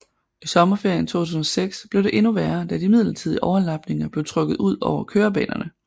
I sommerferien 2006 blev det endnu værre da de midlertidige overlapninger blev trukket udover kørebanerne